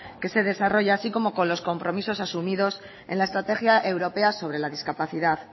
que se desarrolla así como con los compromisos asumidos en la estrategia europea sobre la discapacidad